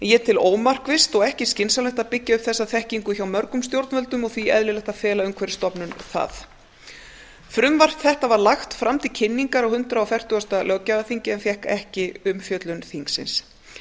ég tel ómarkvisst og ekki skynsamlegt að byggja upp þessa þekkingu hjá mörgum stjórnvöldum og því eðlilegt að fela umhverfisstofnun það frumvarp þetta var lagt fram til kynningar á hundrað fertugasta löggjafarþingi en fékk ekki umfjöllun þingsins